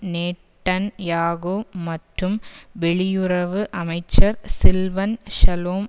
Netanyahu மற்றும் வெளியுறவு அமைச்சர் சில்வன் ஷலோம்